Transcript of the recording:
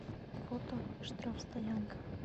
фото штрафстоянка